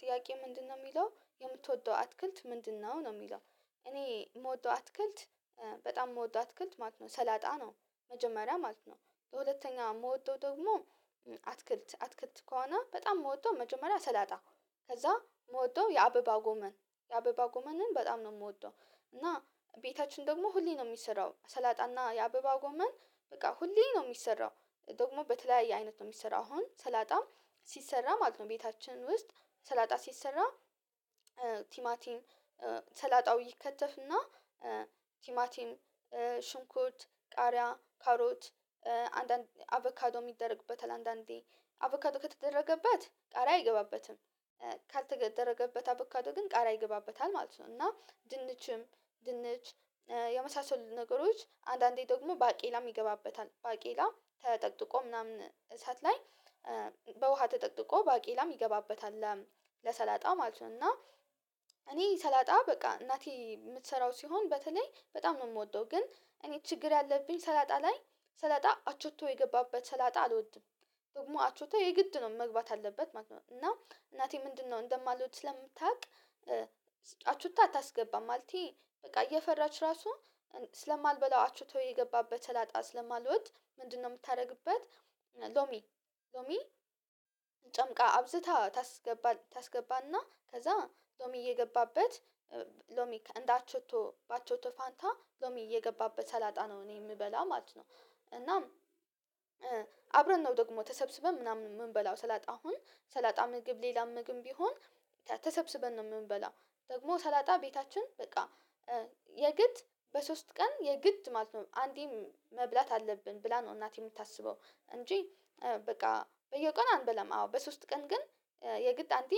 ጥያቄ ምንድነው የሚለው የምትወደው አትክልት ምንድነው ነው የሚለው? እኔ የምወጣው አትክልት በጣም የምወጣው አትክልት ማለት ነው ሰላጣ ነው። መጀመሪያ ማለት ነው ለሁለተኛ የምወጣው ደግሞ አትክልት አትክልት ከሆነ በጣም የምወጣው መጀመሪያ ሰላጣ። ከዛ የምወጣው የአበባ ጎመን የአበባ ጎመንን በጣም ነው የምወጣው። እና ቤታችን ደግሞ ሁሌ ነው የሚሰራው ሰላጣና የአበባ ጎመን በቃ ሁሌ ነው የሚሰራው። ደግሞ በተለያየ አይነት ነው የሚሰራው አሁን ሰላጣም ሲሰራ ማለት ነው ቤታችን ውስጥ ሰላጣ ሲሰራ ቲማቲን ሰላጣው ይከተፍና ቲማቲም ሽንኩት ቃሪያ ካሮት አንዳንድ አቫካዶ የሚደረግበት አንዳንዴ አቦካዶ ከተደረገበት ቃሪያ አይገባበትም። ካልተደረገበት አበካዶ ግን ቀሪያ ይገባበታል ማለት ነው። እና ድንችም ድንች የመሳሰሉ ነገሮች አንዳንዴ ደግሞ ባቄላም ይገባበታል ባቄላ ተጠቅጥቆ ምናምን እሳት ላይ በውሃ ተጠቅጥቆ ባቄላም ይገባበታል። ለሰላጣ ማለት ነው እና እኔ ሰላጣ በቃ እናቴ የምትሰራው ሲሆን በተለይ በጣም ነው የምወደው። ግን እኔ ችግር ያለብኝ ሰላጣ ላይ ሰላጣ አቾቶ የገባበት ሰላጣ አልወድም። ደግሞ አቾታ የግድ ነው መግባት አለበት ማለት ነው እና እናቴ ምንድነው እንደማልወድ ስለምታውቅ አቹቶ አታስገባም ማለቴ በቃ እየፈራች ራሱ ስለማልበላ አችቶ የገባበት ሰላጣ ስለማልወድ ምንድነው የምታደርግበት? ሎሚ ሎሚ ጨምቃ አብዝታ ታስገባ ታስገባና ከዛ ሎሚ እየገባበት ሎሚ እንዳቸቶ በአቸቶ ፋንታ ሎሚ እየገባበት ሰላጣ ነው እኔ የምበላ ማለት ነው። እናም አብረን ነው ደግሞ ተሰብስበን ምናምን የምንበላው ሰላጣ አሁን ሰላጣ ምግብ ሌላ ምግብ ቢሆን ተሰብስበን ነው የምንበላው። ደግሞ ሰላጣ ቤታችን በቃ የግድ በሶስት ቀን የግድ ማለት ነው አንዴም መብላት አለብን ብላ ነው እናቴ የምታስበው እንጂ በቃ በየቀኑ አንበላም። አዎ በሶስት ቀን ግን የግድ አንዴ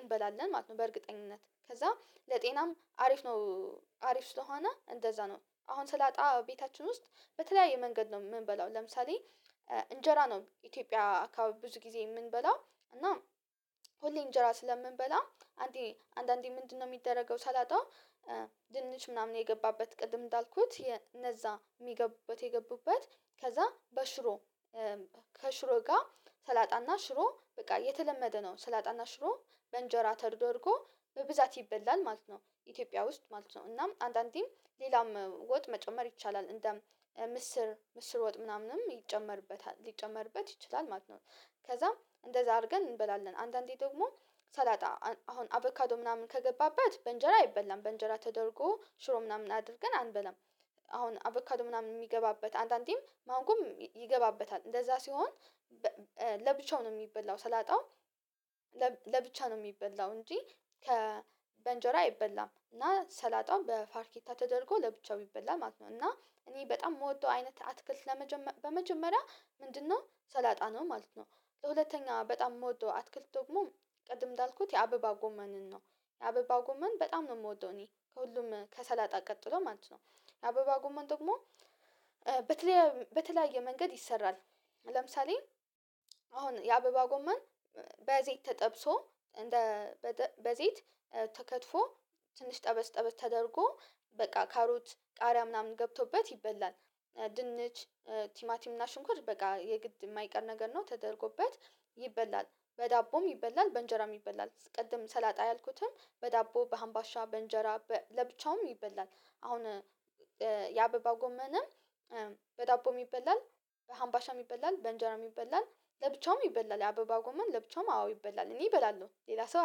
እንበላለን ማለት ነው በእርግጠኝነት ከዛ ለጤናም አሪፍ ነው። አሪፍ ስለሆነ እንደዛ ነው አሁን ስላጣ ቤታችን ውስጥ በተለያየ መንገድ ነው የምንበላው ለምሳሌ እንጀራ ነው ኢትዮጵያ አካባቢ ብዙ ጊዜ የምንበላው። እና ሁሌ እንጀራ ስለምንበላው አንዴ አንዳንዴ ምንድነው የሚደረገው ሰላጣ ድንች ምናምን የገባበት ቅድም እንዳልኩት እነዛ የሚገቡበት የገቡበት ከዛ በሽሮ ከሽሮ ጋር ሰላጣና ሽሮ በቃ የተለመደ ነው ሰላጣና ሽሮ በእንጀራ ተደርጎ በብዛት ይበላል ማለት ነው። ኢትዮጵያ ውስጥ ማለት ነው እናም አንዳንዴም ሌላም ወጥ መጨመር ይቻላል እንደ ምስር ምስር ወጥ ምናምንም ይጨመርበታል ሊጨመርበት ይችላል ማለት ነው። ከዛም እንደዛ አድርገን እንበላለን አንዳንዴ ደግሞ ሰላጣ አሁን አቦካዶ ምናምን ከገባበት በእንጀራ አይበላም በእንጀራ ተደርጎ ሽሮ ምናምን አድርገን አንበላም። አሁን አቦካዶ ምናምን የሚገባበት አንዳንዴም ማንጎም ይገባበታል እንደዛ ሲሆን ለብቻው ነው የሚበላው ሰላጣውም ለብቻ ነው የሚበላው እንጂ። ከ በእንጀራ አይበላም እና ሰላጣውን በፋርኬታ ተደርጎ ለብቻው ቢበላ ማለት ነው። እና እኔ በጣም የምወደው አይነት አትክልት ለመጀመሪያ ምንድነው ሰላጣ ነው ማለት ነው። ለሁለተኛ በጣም የምወደው አትክልት ደግሞ ቀድም እንዳልኩት የአበባ ጎመንን ነው የአበባ ጎመን በጣም ነው የምወደው እኔ ከሁሉም ከሰላጣ ቀጥሎ ማለት ነው። አበባው ጉመን ደግሞ በተለያየ መንገድ ይሰራል። ለምሳሌ አሁን የአበባ ጎማን በዘይት ተጠብሶ እንደ በዘይት ተከትፎ ትንሽ ጠበስ ጠበስ ተደርጎ በቃ ካሮት ቃሪያ ምናምን ገብቶበት ይበላል። ድንች ቲማቲም እና ሽንኩርት በቃ የግድ የማይቀር ነገር ነው ተደርጎበት ይበላል በዳቦም ይበላል በእንጀራም ይበላል። ቅድም ሰላጣ ያልኩትም በዳቦ በሀምባሻ በእንጀራ ለብቻውም ይበላል አሁን የአበባ ጎመንም በዳቦም ይበላል በሀምባሻም ይበላል በእንጀራ ይበላል ለብቻውም ይበላል የአበባ ጎማን ለብቻውም አዎ ይበላል እኔ እበላለሁ ሌላ ሰው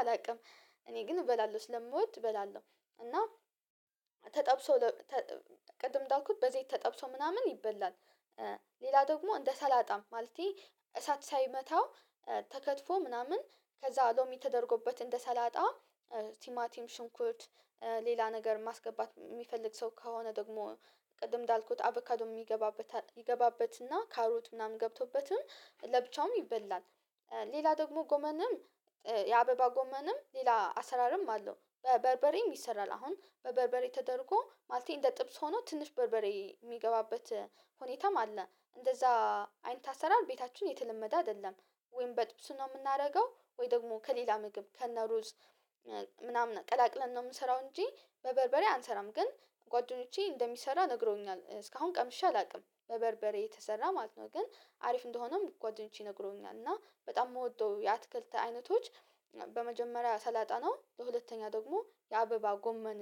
አላውቅም። እኔ ግን እበላለሁ ስለምወድ እበላለሁ። እና ተጠብሶ ቅድም እንዳልኩት በዘይት ተጠብሶ ምናምን ይበላል። ሌላ ደግሞ እንደ ሰላጣም ማለቴ እሳት ሳይመታው ተከትፎ ምናምን ከዛ ሎሚ ተደርጎበት እንደ ሰላጣ ቲማቲም ሽንኩት ሌላ ነገር ማስገባት የሚፈልግ ሰው ከሆነ ደግሞ ቅድም እንዳልኩት አቦካዶ የሚገባበት ይገባበትና ካሮት ምናምን ገብቶበትም ለብቻውም ይበላል። ሌላ ደግሞ ጎመንም የአበባ ጎመንም ሌላ አሰራርም አለው። በበርበሬም ይሰራል አሁን በበርበሬ ተደርጎ ማለቴ እንደ ጥብስ ሆኖ ትንሽ በርበሬ የሚገባበት ሁኔታም አለ። እንደዛ አይነት አሰራር ቤታችን የተለመደ አይደለም። ወይም በጥብጥ ነው የምናደርገው ወይ ደግሞ ከሌላ ምግብ ከነሩዝ ምናምን ቀላቅለን ነው የምሰራው እንጂ በበርበሬ አንሰራም። ግን ጓደኞቼ እንደሚሰራ ነግረውኛል እስካሁን ቀምሼ አላውቅም በበርበሬ የተሰራ ማለት ነው። ግን አሪፍ እንደሆነም ጓደኞቼ ነግረውኛል እና በጣም የምወደው የአትክልት አይነቶች። በመጀመሪያ ሰላጣ ነው ለሁለተኛ ደግሞ የአበባ ጎመን